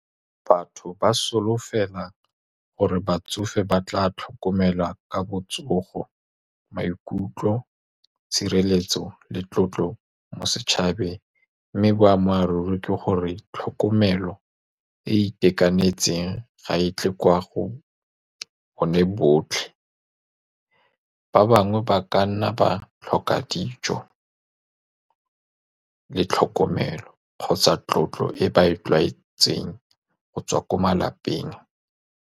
Batho ba solofela gore batsofe ba tla tlhokomelwa ka botsogo, maikutlo, tshireletso le tlotlo mo setšhabeng. Mme boammaaruri ke gore tlhokomelo e e itekanetseng ga e tle kwa go bone botlhe. Ba bangwe ba ka nna ba tlhoka dijo le tlhokomelo kgotsa tlotlo e ba e tlwaetseng go tswa ko malapeng.